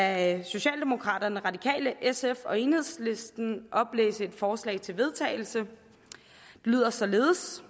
af socialdemokraterne radikale sf og enhedslisten oplæse et forslag til vedtagelse det lyder således